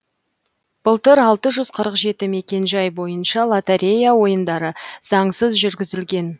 былтыр алты жүз қырық жеті мекенжай бойынша лотерея ойындары заңсыз жүргізілген